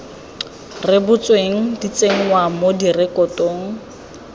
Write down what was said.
rebotsweng di tsenngwa mo direkotong